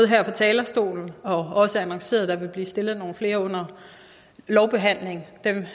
her fra talerstolen og det også annonceret at der vil blive stillet nogle flere under lovbehandlingen dem